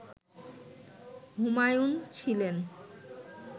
হুমায়ুন ছিলেন